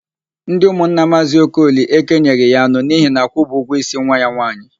Ndị ụmụnna Maazị Okoli ekenyeghị ya anụ n'ihi na akwụbeghị ụgwọ ísí nwa ya nwaanyị.